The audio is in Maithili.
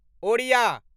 ओड़िया